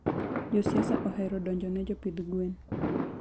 josiasa ohero donjone jopidh gwen